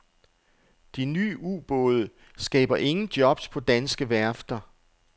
De nye ubåde skaber ingen jobs på danske værfter.